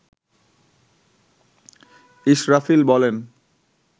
ইসরাফিল বলেন